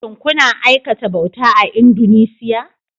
Shin kuna aikata bauta a Indunusiya?